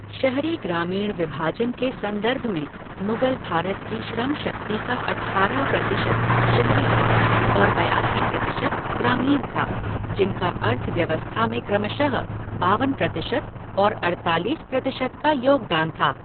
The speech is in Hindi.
शहरी ग्रामीण विभाजन के संदर्भ में, मुगल भारत की श्रम शक्ति का अठारह प्रतिशत शहरी था और बयासी प्रतिशत ग्रामीण था, जिनका अर्थव्यवस्था में क्रमशः बावन प्रतिशत और अड़तालीस प्रतिशत का योगदान था।